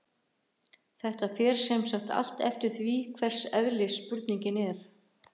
Þetta fer sem sagt allt eftir því hvers eðlis spurningin er.